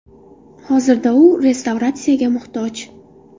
Hozirda u restavratsiyaga muhtoj.